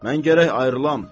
mən gərək ayrılam.